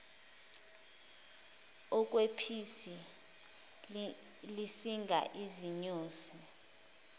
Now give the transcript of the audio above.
okwephisi lisinga izinyosi